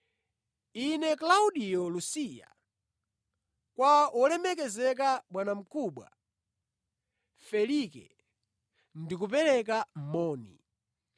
Ine Klaudiyo Lusiya, Kwa wolemekezeka, bwanamkubwa Felike: Ndikupereka moni.